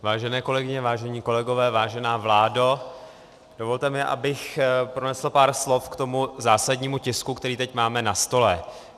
Vážené kolegyně, vážení kolegové, vážená vládo, dovolte mi, abych pronesl pár slov k tomu zásadnímu tisku, který teď máme na stole.